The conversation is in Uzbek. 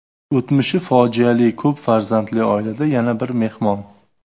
O‘tmishi fojiali ko‘p farzandli oilada yana bir mehmon.